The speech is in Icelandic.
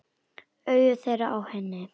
Augu þeirra á henni.